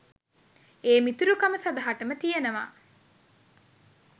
ඒ මිතුරු කම සදහටම තියෙනවා.